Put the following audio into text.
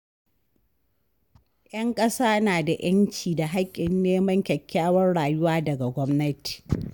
‘Yan ƙasa na da ‘yanci da haƙƙin neman kyakkyawar rayuwa daga gwamnati.